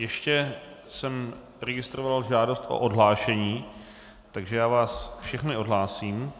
Ještě jsem registroval žádost o odhlášení, takže já vás všechny odhlásím...